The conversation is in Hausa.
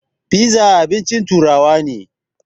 Fiza abincin turawa ne.